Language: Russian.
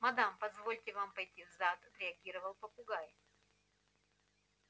мадам позвольте вам пойти в зад отреагировал попугай